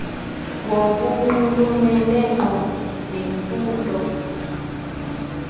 ngokunxulumene ngqo nemfundo